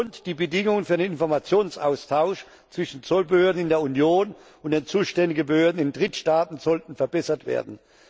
Und die Bedingungen für den Informationsaustausch zwischen Zollbehörden in der Union und den zuständigen Behörden in Drittstaaten sollten verbessert werden.